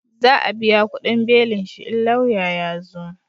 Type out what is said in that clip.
Za a biya kudin belin shi in lauya ya zo